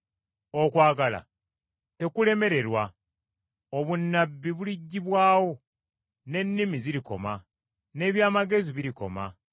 Okwagala tekulemererwa; obunnabbi buliggyibwawo, n’ennimi zirikoma, n’eby’amagezi birikoma.